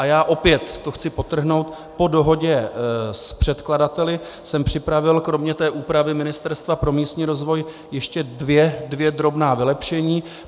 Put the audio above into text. A já opět, to chci podtrhnout, po dohodě s předkladateli jsem připravil kromě té úpravy Ministerstva pro místní rozvoj ještě dvě drobná vylepšení.